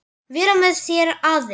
Vera með þér aðeins.